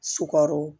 Sukaro